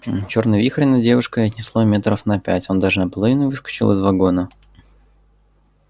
чёрный вихрь над девушкой отнесло метров на пять он даже наполовину выскочил из вагона